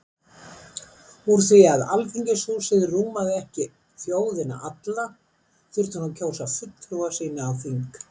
Úr því Alþingishúsið rúmaði ekki þjóðina alla, þurfti hún að kjósa fulltrúa sína á þing.